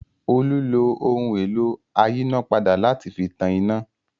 Olú lo ohun-èlò ayínápadà láti fi tan iná.